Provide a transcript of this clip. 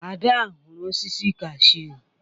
Ada huru osisi kashụ.